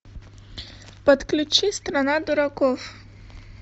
подключи страна дураков